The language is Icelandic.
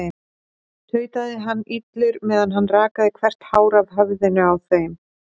tautaði hann illur meðan hann rakaði hvert hár af höfðinu á þeim.